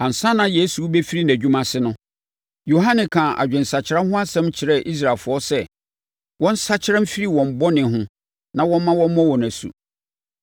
Ansa na Yesu rebɛfiri nʼadwuma ase no, Yohane kaa adwensakyera ho asɛm kyerɛɛ Israelfoɔ sɛ, wɔnsakyera mfiri wɔn bɔne ho na wɔmma wɔmmɔ wɔn asu.